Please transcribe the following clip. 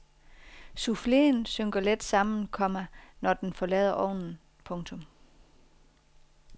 Souffleen synker let sammen, komma når den forlader ovnen. punktum